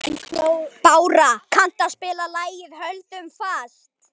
Bára, kanntu að spila lagið „Höldum fast“?